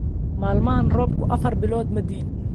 Maalmahan roobku afar bilood ma di’in